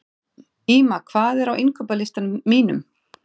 Ýma, hvað er á innkaupalistanum mínum?